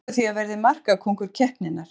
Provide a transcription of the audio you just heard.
Spái því að verði markakóngur keppninnar!